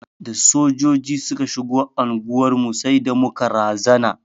Da Sojoji suka shigo anguwar mu sai da muka razana.